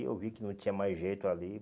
eu vi que não tinha mais jeito ali.